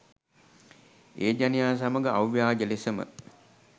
ඒ ජනයා සමග අව්‍යාජ ලෙසම